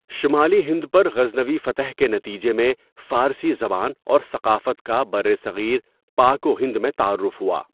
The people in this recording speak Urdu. شمالی ہند پر غزنوی فتح کے نتیجے میں فارسی زبان اور ثقافت کا برصغیر پاک و ہند میں تعارف ہوا۔